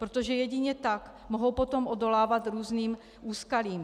Protože jedině tak mohou potom odolávat různým úskalím.